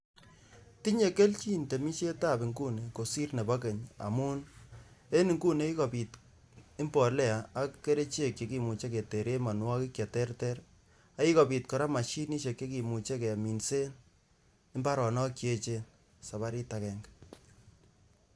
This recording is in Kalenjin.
Tinye kelchin temisietab inguni kosir nebo keny amun en inguni kokikobit imbolea ak kerichek che kimuche keteren mianwokik cheterter ak kikobit kora" mashinishek" chekimuche keminsen mbaronok che echen sabarit akenge.